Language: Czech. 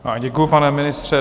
Děkuji, pane ministře.